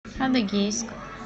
адыгейск